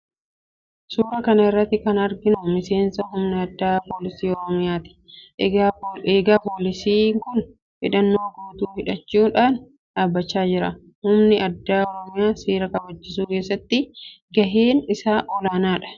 Suuraa kana irratti kan arginu miseensa Humna Addaa Poolisii Oromiyaa ti. Egaa Poolisiin kun hidhannoo guutuu hidhachuu dhaan dhaabachaa jira. Humni Addaa Oromiyaa seera kabachiisuu keessatti gaheen isaa olaanaa dha.